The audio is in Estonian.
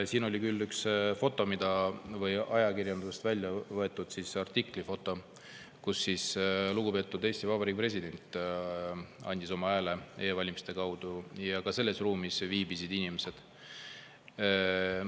Siin oli üks ajakirjandusest välja võetud artikli foto, kus lugupeetud Eesti Vabariigi president andis oma hääle e-valimise kaudu, ja selles ruumis viibisid teised inimesed juures.